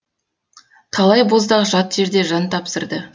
талай боздақ жат жерде жан тапсырды